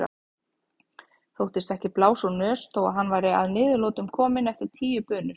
Þóttist ekki blása úr nös þó að hann væri að niðurlotum kominn eftir tíu bunur.